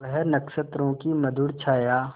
वह नक्षत्रों की मधुर छाया